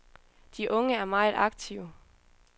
De unge er meget aktive.